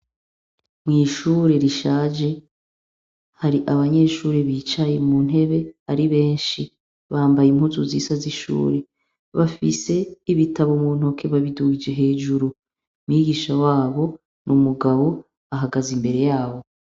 Mwishuri rishaje hari abanyeshure bicaye muntebe ari benshi bambaye impuzu zisa zishuri bafise ibitabu muntoke babidugije hejuru, mwigisha wabo numugabo ahagaze imbere yabo.